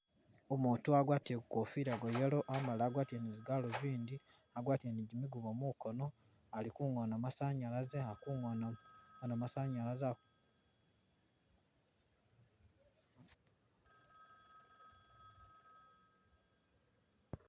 Umutu wagwatile Ku kofila gwa yellow amala agwatile ni zi'galuvindi agwatile ni gimigubo mu'nkoono ali Ku'ngoona masanyalaze ali Ku'ngoona masanyalaze......